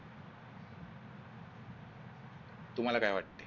तुम्हाला काय वाटते?